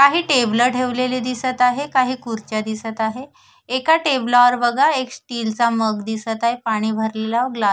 काही टेबल ठेवलेले दिसत आहे काही खुर्च्या दिसत आहे एका टेबला वर बघा एक स्टील चा मग दिसत आहे पाणी भरलेला ग्ला--